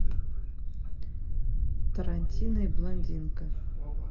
тарантино и блондинка